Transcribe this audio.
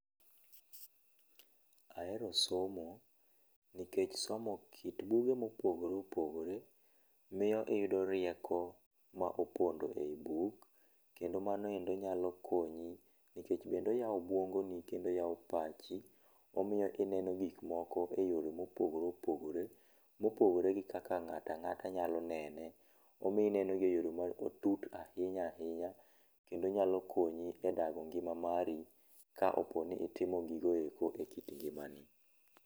Ahero somo, nikech somo kit buge mo opogore opogore miyo iyudo rieko ma opondo e yi buk kendo manoendo nyalo konyi nikech bende oyao obuongoni kendo oyao pachi omiyo ineno gik moko e yore ma opogore opogore ma opogore gi kaka nga'ta nga'ta nyalo nene omiyo inenogi e yore matuk ahinya ahinya kendo nyalo konyi e dago ngi'ma mari ka oponi itimo gigo eko e kit ngi'mani.